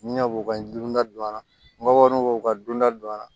Ɲinɛ b'o ka dunda don a labɔrɔni b'o ka dunda don a la